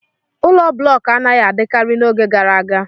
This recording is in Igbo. Ụlọ blọk anaghị adịkarị n'oge gara aga.